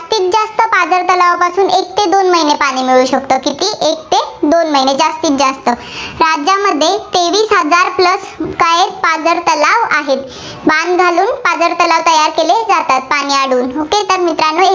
दोन महिने पाणी मिळू शकतं. किती एक ते दोन महिने जास्तीजास्त. राज्यामध्ये तेवीस हजार plus काय आहेत, पाझर तलाव आहेत. बांध घालून पाझर तलाव तयार केले जातात, पाणी अडवून. तर मित्रांनो